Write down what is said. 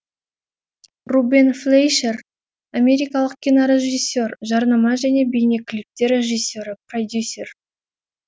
рубен флейшер америкалық кинорежиссер жарнама және бейнеклиптер режиссері продюсер